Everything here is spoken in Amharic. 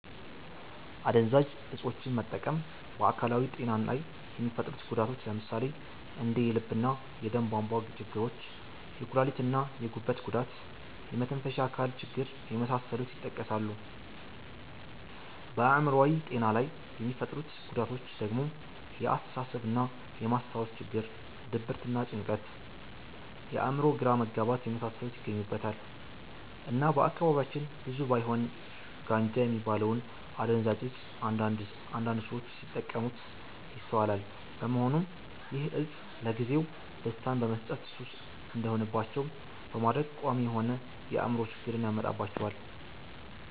አደንዛዥ እፆችን መጠቀም በ አካላዊ ጤና ላይ የሚፈጥሩት ጉዳቶች ለምሳሌ እንደ የልብ እና የደም ቧንቧ ችግሮች፣ የኩላሊት እና የጉበት ጉዳት፣ የመተንፈሻ አካል ችግር የመሳሰሉት ይጠቀሳሉ። በአእምሮአዊ ጤና ላይ የሚፈጥሩት ጉዳቶች ደግሞ የአስተሳሰብ እና የ ማስታወስ ችግር፣ ድብርት እና ጭንቀት፣ የ አእምሮ ግራ መጋባት የመሳሰሉት ይገኙበታል። እና በአካባቢያችን ብዙም ባይሆን ጋንጃ የሚባለውን አደንዛዥ እፅ አንዳንድ ሰዎች ሲጠቀሙት ይስተዋላል በመሆኑም ይህ እፅ ለጊዜው ደስታን በመስጠት ሱስ እንዲሆንባቸው በማድረግ ቋሚ የሆነ የ አእምሮ ችግርን ያመጣባቸዋል።